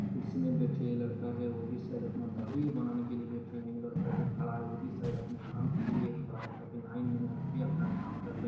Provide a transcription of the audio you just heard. कुर्सी में बैठे है लड़का है वो भी शायद अपना दाढ़ी बनाने के लिए बैठे हैं। लड़का जो खड़ा है वो भी शायद अपने काम के लिए खड़ा है ताकि लाइन में हम भी अपना काम कर ले।